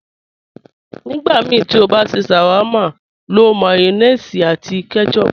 Nígbàmíí tí o bá n ṣẹ́ sháwárma, ló mayonéèsì àti ketchup.